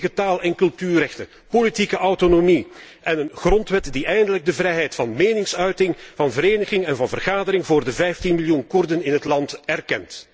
Volledige taal en cultuurrechten, politieke autonomie en een grondwet die eindelijk de vrijheid van meningsuiting, van vereniging en van vergadering voor de 15 miljoen Koerden in het land erkent.